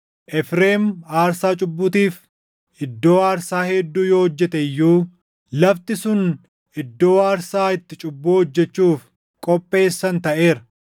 “Efreem aarsaa cubbuutiif // iddoo aarsaa hedduu yoo hojjete iyyuu, lafti sun iddoo aarsaa itti cubbuu hojjechuuf // qopheessan taʼeera.